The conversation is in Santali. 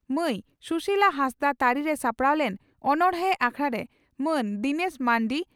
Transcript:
ᱢᱟᱹᱭ ᱥᱩᱥᱤᱞᱟ ᱦᱟᱸᱥᱫᱟᱜ ᱛᱟᱹᱨᱤᱨᱮ ᱥᱟᱯᱲᱟᱣ ᱞᱮᱱ ᱚᱱᱚᱬᱦᱮ ᱟᱠᱷᱲᱟᱨᱮ ᱢᱟᱹᱱ ᱫᱤᱱᱮᱥ ᱢᱟᱱᱰᱤ